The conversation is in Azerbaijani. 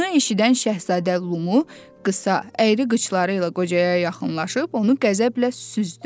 Bunu eşidən Şahzadə Lummu qısa, əyri qıçları ilə qocaya yaxınlaşıb onu qəzəblə süzdü.